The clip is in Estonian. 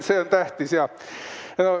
See on tähtis jah.